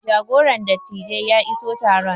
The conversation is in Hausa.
jagoran dattijai ya iso taron